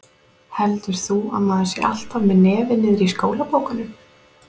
Heldur þú að maður sé alltaf með nefið niðri í skólabókunum?